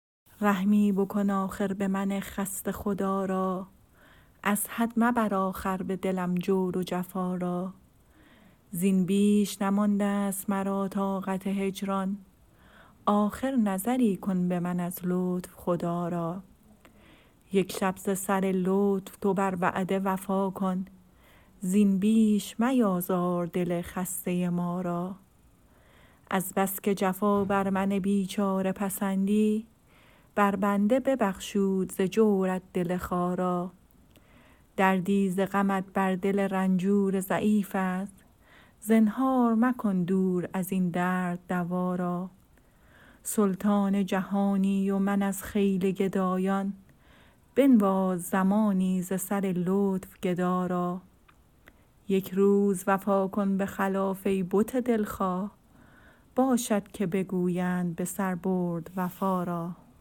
رحمی بکن آخر به من خسته خدا را از حد مبر آخر به دلم جور و جفا را زین بیش نمانده ست مرا طاقت هجران آخر نظری کن به من از لطف خدا را یک شب ز سر لطف تو بر وعده وفا کن زین بیش میازار دل خسته ما را از بس که جفا بر من بیچاره پسندی بر بنده ببخشود ز جورت دل خارا دردی ز غمت بر دل رنجور ضعیف است زنهار مکن دور از این درد دوا را سلطان جهانی و من از خیل گدایان بنواز زمانی ز سر لطف گدا را یک روز وفا کن به خلاف ای بت دلخواه باشد که بگویند به سر برد وفا را